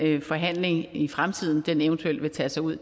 den forhandling i fremtiden eventuelt vil tage sig ud